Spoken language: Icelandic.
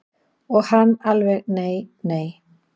Og hann alveg nei nei.